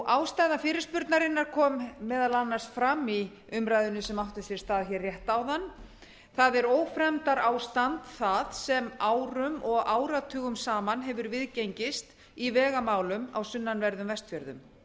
ástæða fyrirspurnarinnar kom meðal annars fram í umræðunni sem átti sér stað hér rétt áðan það er ófremdarástand það sem árum og áratugum saman hefur viðgengist í vegamálum á sunnanverðum vestfjörðum